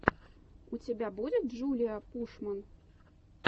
у тебя будет джулиа пушман